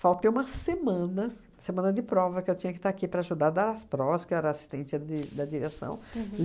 Faltei uma semana, semana de prova, que eu tinha que estar aqui para ajudar dar as provas, que eu era assistente de da direção.